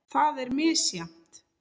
Það er misjafnt.